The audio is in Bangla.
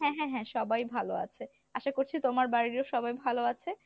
হ্যা হ্যা হ্যা সবাই ভালো আছে, আশা করছি তোমার বাড়ির ও সবাই ভালো আছে।